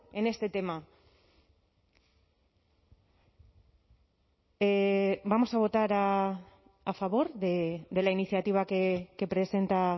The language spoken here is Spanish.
en este tema vamos a votar a favor de la iniciativa que presenta